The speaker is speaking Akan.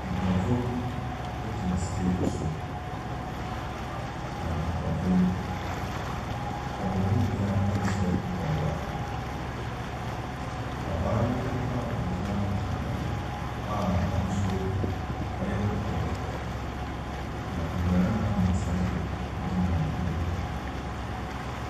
Nnipakuo bi gyina stage so, na nnipakuo yi, wɔn mu nyinaa nhyɛ mpaboa. Abaayewa bi a ogyina hɔ hyɛ ataade a n'ahosuo yɛ kɔkɔɔ. Na mmarima mmiɛnsa gyina n'anim.